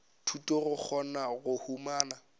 thuto go kgona go humana